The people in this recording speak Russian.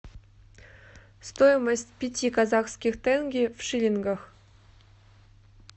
стоимость пяти казахских тенге в шиллингах